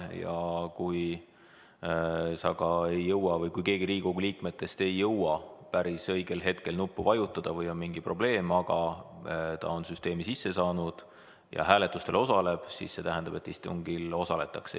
Ja kui sa ei jõua või kui keegi teine Riigikogu liikmetest ei jõua päris õigel hetkel kohaloleku nuppu vajutada või on mingi muu probleem, aga inimene on süsteemi sisse saanud ja hääletustel osaleb, siis see tähendab, et istungil osaletakse.